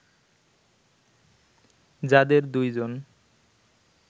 যাদের দুই জন